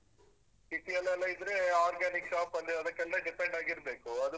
City ಯಲ್ಲೆಲ್ಲಾ ಇದ್ರೇ organic shop ಅಲ್ಲಿ ಅದಕ್ಕೆಲ್ಲ depend ಆಗಿರ್ಬೇಕು.